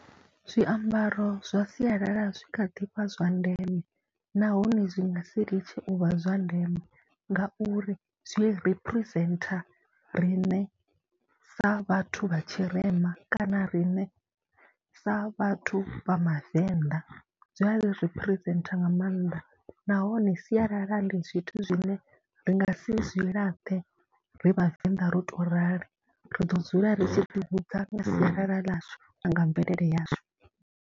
Zwiambaro zwa sialala zwi kha ḓi vha zwa ndeme nahone zwi nga si litshe u vha zwa ndeme ngauri zwi representer riṋe sa vhathu vha tshirema kana riṋe sa vhathu vha mavenḓa, zwi a representer nga maanḓa nahone sialala ndi zwithu zwine ndi nga si zwi laṱe ri Vhavenḓa ro tou rali. Ri ḓo dzula ri tshi ḓihudza nga sialala ḽashu na nga mvelele yashu.